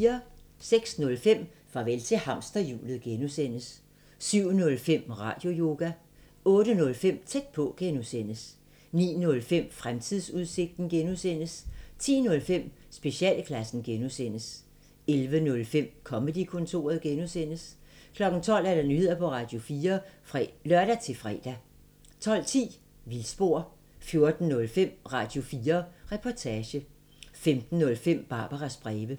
06:05: Farvel til hamsterhjulet (G) 07:05: Radioyoga 08:05: Tæt på (G) 09:05: Fremtidsudsigten (G) 10:05: Specialklassen (G) 11:05: Comedy-kontoret (G) 12:00: Nyheder på Radio4 (lør-fre) 12:10: Vildspor 14:05: Radio4 Reportage 15:05: Barbaras breve